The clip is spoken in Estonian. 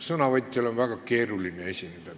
Kõnelejal on teie ees väga keeruline esineda.